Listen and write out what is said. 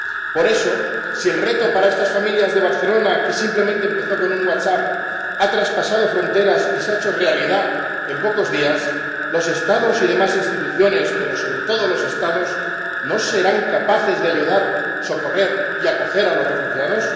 Por eso, si el reto para estas familias de Barcelona que simplemente empezó con un WhatsApp ha traspasado fronteras y se ha hecho realidad en pocos días, los Estados y demás instituciones, pero sobre todo los Estados, ¿no serán capaces de ayudar, socorrer y acoger a los refugiados?